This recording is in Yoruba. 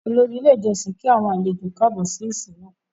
Òlòrì ilẹ̀ ìjọ̀ṣìn náà kí àwọn àlẹ̀jọ kààbọ̀ sí ìsin náà.